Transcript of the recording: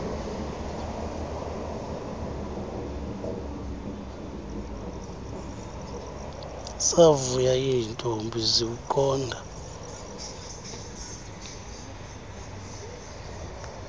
zavuya iintombi ziwuqonda